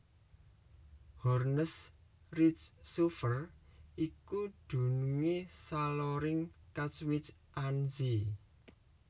Hoornes Rijnsoever iku dunungé saloring Katwijk aan Zee